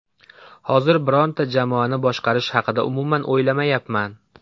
Hozir birorta jamoani boshqarish haqida umuman o‘ylamayapman.